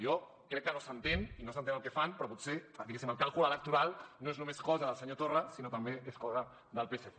jo crec que no s’entén i no s’entén el que fan però potser diguéssim el càlcul electoral no és només cosa del senyor torra sinó també és cosa del psc